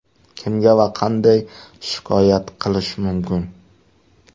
Kimga va qanday shikoyat qilish mumkin?